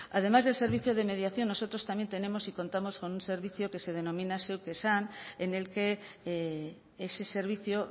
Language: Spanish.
además del servicio de mediación nosotros también tenemos y contamos con un servicio que se denomina zeuk esan en el que ese servicio